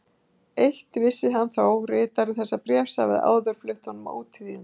Eitt vissi hann þó: ritari þessa bréfs hafði áður flutt honum ótíðindi.